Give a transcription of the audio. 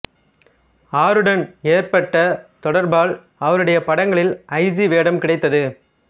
ஆருடன் ஏற்பட்ட தொடர்பால் அவருடைய படங்களில் ஐ ஜி வேடம் கிடைத்தது